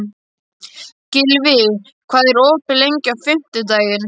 Gylfi, hvað er opið lengi á fimmtudaginn?